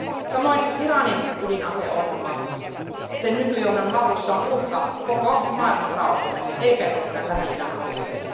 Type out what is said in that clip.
Samoin Iranin ydinaseohjelma sen nykyjohdon hallussa on uhka koko maailman rauhalle, ei pelkästään Lähi idän alueelle.